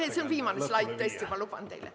Jah, see on viimane slaid, tõesti, ma luban teile.